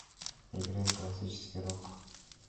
играй классический рок